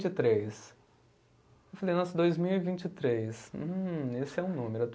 e três. Eu falei, nossa, dois mil e vinte e três, hum, esse é um número.